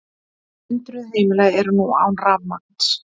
Hundruð heimila eru nú án rafmagns